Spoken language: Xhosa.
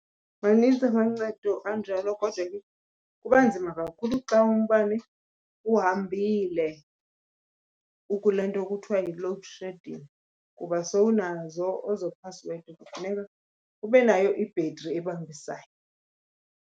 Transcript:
Manintsi amancedo anjalo kodwa ke kuba nzima kakhulu xa umbane uhambile, ukule nto kuthiwa yi-loadshedding. Kuba sowunazo ezo phasiwedi kufuneka ube nayo i-battery ebambisayo.